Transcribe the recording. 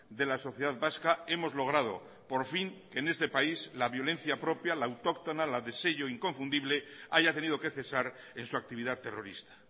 de la sociedad vasca hemos logrado por fin que en este país la violencia propia la autóctona la de sello inconfundible haya tenido que cesar en su actividad terrorista